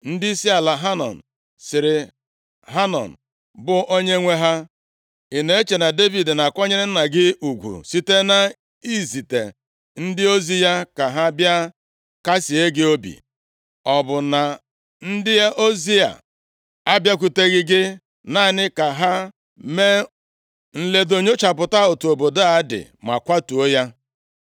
ndịisi ala Amọn sịrị Hanọn, bụ onyenwe ha, “Ị na-eche na Devid na-akwanyere nna gị ụgwụ site na izite ndị ozi ya ka ha bịa kasịe gị obi? Ọ bụ na ndị ozi ya abịakwuteghị gị, naanị ka ha mee nledo, nyochapụta otu obodo a dị ma kwatuo ya?”